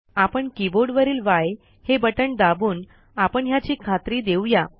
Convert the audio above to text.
आपण कीबोर्डवरील य हे बटण दाबून आपण ह्याची खात्री देऊया